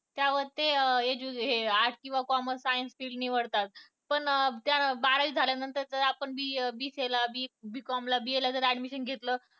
त्यावर ते हे arts किंवा commerce science निवडतात पण बारावी झाल्यानंतर च BKB. com ला BA ला जर admission घेतलं